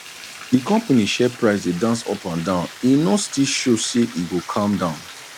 di company share price dey dance up and down e no still show say e go calm down